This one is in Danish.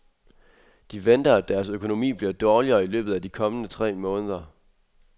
De venter, at deres økonomi bliver dårligere i løbet af de kommende tre måneder.